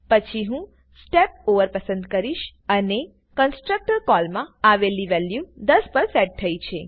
પછી હું step over પસંદ કરીશ અને કંસ્ટ્રક્ટર કોલમાં આવેલી વેલ્યુ 10 પર સેટ થયી છે